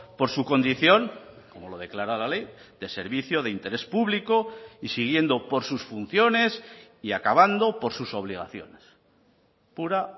por su condición como lo declara la ley de servicio de interés público y siguiendo por sus funciones y acabando por sus obligaciones pura